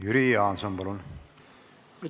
Jüri Jaanson, palun!